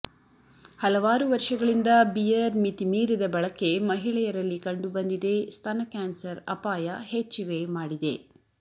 ಹಲವಾರು ವರ್ಷಗಳಿಂದ ಬಿಯರ್ ಮಿತಿಮೀರಿದ ಬಳಕೆ ಮಹಿಳೆಯರಲ್ಲಿ ಕಂಡುಬಂದಿದೆ ಸ್ತನ ಕ್ಯಾನ್ಸರ್ ಅಪಾಯ ಹೆಚ್ಚಿವೆ ಮಾಡಿದೆ